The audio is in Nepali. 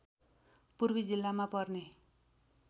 पूर्वी जिल्लामा पर्ने